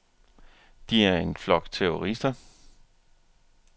De er en flok terrorister.